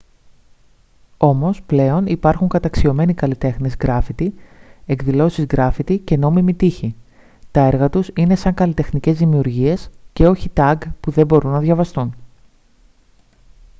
όμως πλέον υπάρχουν καταξιωμένοι καλλιτέχνες γκράφιτι εκδηλώσεις γκράφιτι και «νόμιμοι» τοίχοι. τα έργα τους είναι σαν καλλιτεχνικές δημιουργίες και όχι tag που δεν μπορούν να διαβαστούν